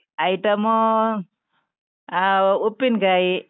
item ಊ ಆ ಉಪ್ಪಿನ್ಕಾಯಿ.